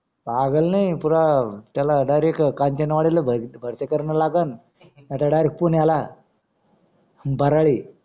पागल नाय पुरा त्याला direct त्याला कांचनवाडीला भरती कारणा लागण नाही तर direct पुण्याला बाराळी